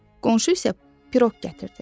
Qonşu isə piroq gətirdi.